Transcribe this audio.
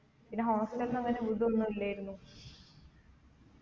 പിന്നെ hostel ഒന്നങ്ങനെ വീടൊന്നുല്ലേരുന്നു